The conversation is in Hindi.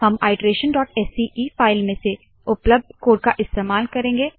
हम iterationसीई फाइल में से उपलब्ध कोड का इस्तेमाल करेंगे